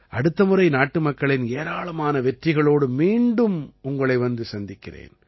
அடுத்த முறை நாட்டுமக்களின் ஏராளமான வெற்றிகளோடு மீண்டும் உங்களை வந்து சந்திக்கிறேன்